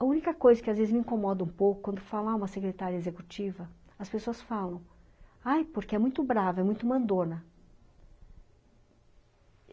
A única coisa que às vezes me incomoda um pouco quando falar uma secretária executiva, as pessoas falam, ai porque é muito brava, é muito mandona.